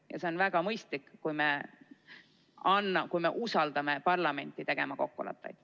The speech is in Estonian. Ja see on väga mõistlik, kui me usaldame parlamenti tegema kokkuleppeid.